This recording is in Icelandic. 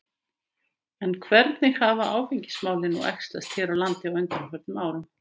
En hvernig hafa áfengismálin nú æxlast hér á landi á undanförnum árum?